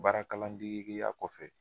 Baara kalan degeya kɔfɛ